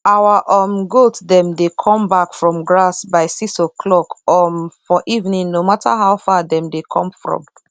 our um goat dem dey come back from grass by six oclock um for evening no matter how far dem dey come from